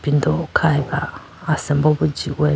do khyeba asimbo bi jindehyeba.